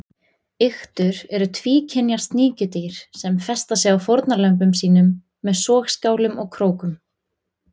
Iktur eru tvíkynja sníkjudýr sem festa sig á fórnarlömbum sínum með sogskálum og krókum.